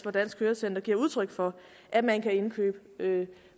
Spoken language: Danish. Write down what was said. at dansk hørecenter giver udtryk for at man kan indkøbe